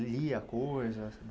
Lia coisas?